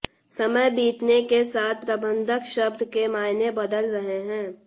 समय बीतने के साथ प्रबंधक शब्द के मायने बदल रहे हैं